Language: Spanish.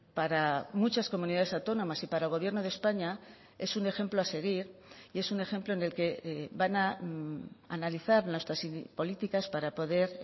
para muchas comunidades autónomas y para el gobierno de españa es un ejemplo a seguir y es un ejemplo en el que van a analizar nuestras políticas para poder